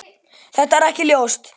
Það er alls ekki ljóst.